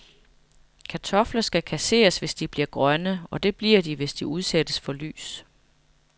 Kartofler skal kasseres, hvis de bliver grønne, og det bliver de, hvis de udsættes for lys.